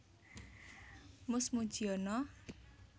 Mus Mujiono